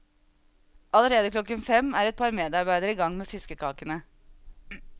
Allerede klokken fem er et par medarbeidere i gang med fiskekakene.